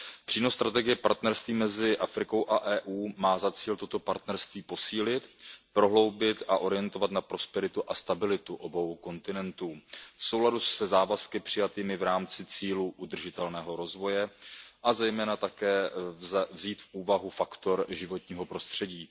Přínos strategie partnerství mezi Afrikou a EU má za cíl toto partnerství posílit, prohloubit a orientovat na prosperitu a stabilitu obou kontinentů v souladu se závazky přijatými v rámci cílů udržitelného rozvoje, a zejména také vzít v úvahu faktor životního prostředí.